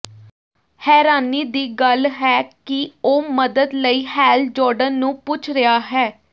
ਹੈਰਾਨੀ ਦੀ ਗੱਲ ਹੈ ਕਿ ਉਹ ਮਦਦ ਲਈ ਹੈਲ ਜੌਰਡਨ ਨੂੰ ਪੁੱਛ ਰਿਹਾ ਹੈ